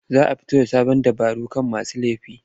Za a fito da sa abin dabarun kama masu laifi.